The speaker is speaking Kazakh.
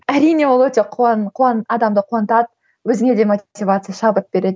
әрине ол өте адамды қуантады өзіңе де мотивация шабыт береді